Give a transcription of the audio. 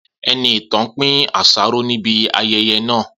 Enitàn pín àsáró ní ibi ayẹyẹ náà